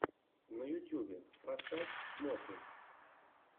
на ютюбе поставь смотрим